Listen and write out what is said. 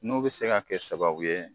N'o bɛ se ka kɛ sababu ye